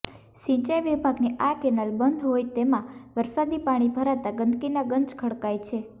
સિંચાઇ વિભાગની આ કેનાલ બંધ હોઇ તેમાં વરસાદી પાણી ભરાતા ગંદકીના ગંજ ખડકાય છે